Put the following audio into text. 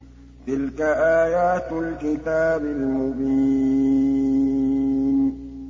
تِلْكَ آيَاتُ الْكِتَابِ الْمُبِينِ